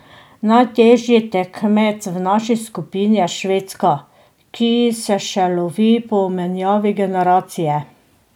Najtežji tekmec v naši skupini je Švedska, ki se še lovi po menjavi generacije.